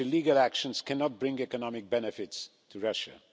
Such illegal actions cannot bring economic benefits to Russia.